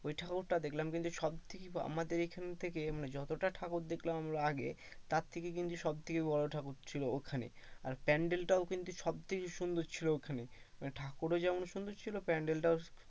ওই ঠাকুরটা দেখলাম কিন্তু সব থেকে আমাদের এইখানে মানে যতটা ঠাকুর দেখলাম আমরা আগে তার থেকে কিন্তু সবথেকে বড়ো ঠাকুর ছিল ওখানে আর panel টাও কিন্তু সবথেকে সুন্দর ছিল ওখানে, মানে ঠাকুর ও যেমন সুন্দর ছিল panel টাও,